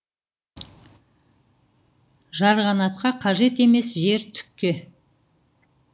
жарғанатқа қажет емес жер түкке